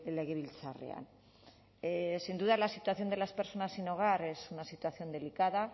legebiltzarrean sin duda la situación de las personas sin hogar es una situación delicada